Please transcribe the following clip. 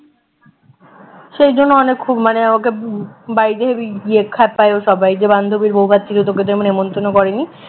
সেই জন্য অনেক খুব মানে আমাকে বাড়িতে heavy ইয়ে খ্যাপায় সবাই যে বান্ধবীর বৌভাত ছিল তোকে নেমন্তন্ন করেনি